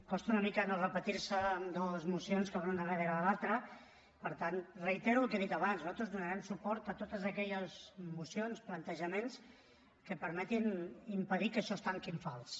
costa una mica no repetir se en dues mocions que van una darrere l’altra per tant reitero el que he dit abans nosaltres donarem suport a totes aquelles mocions plantejaments que permetin impedir que això es tanqui en fals